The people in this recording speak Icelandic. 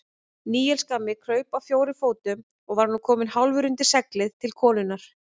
Níels gamli kraup á fjórum fótum og var nú kominn hálfur undir seglið til konunnar.